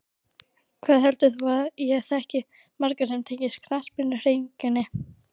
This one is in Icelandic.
Hvað heldur þú að ég þekki marga sem tengjast knattspyrnuhreyfingunni?